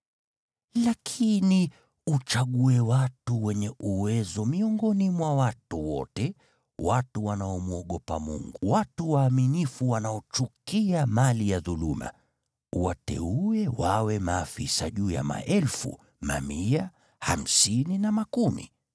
Lakini uchague watu wenye uwezo miongoni mwa watu wote, watu wanaomwogopa Mungu, watu waaminifu wanaochukia mali ya dhuluma, uwateuwe wawe maafisa juu ya maelfu, mamia, hamsini na makumi.